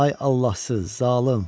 Ay Allahsız zalım!